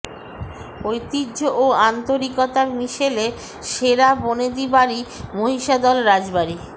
ঐতিহ্য ও আন্তরিকতার মিশেলে সেরা বনেদি বাড়ি মহিষাদল রাজবাড়ি